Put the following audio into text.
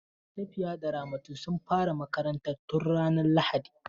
Safiya da Ramatu sun fara makarantar tun ranar lahadi.